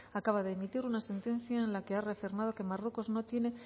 acaba de emitir una sentencia en la que ha reafirmado que marruecos no tiene